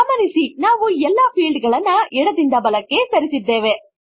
ಗಮನಿಸಿ ನಾವು ಎಲ್ಲ ಫೀಲ್ಡ್ ಗಳನ್ನು ಎಡ ದಿಂದ ಬಲಕ್ಕೆ ಸರಿಸಿದ್ದೇವೆ